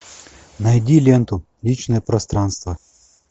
найди ленту личное пространство